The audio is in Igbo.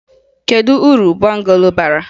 Kedu uru bungalo bara?